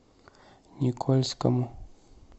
никольскому